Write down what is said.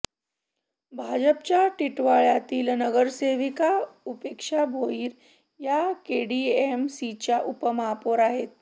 भाजपच्या टिटवाळ्यातील नगरसेविका उपेक्षा भोईर या केडीएमसीच्या उपमहापौर आहेत